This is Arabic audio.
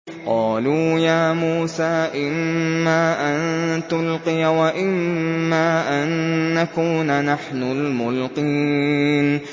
قَالُوا يَا مُوسَىٰ إِمَّا أَن تُلْقِيَ وَإِمَّا أَن نَّكُونَ نَحْنُ الْمُلْقِينَ